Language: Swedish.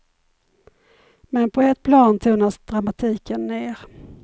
Men på ett plan tonas dramatiken ned.